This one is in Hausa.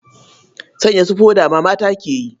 Sanya su foda ma mata ke yi.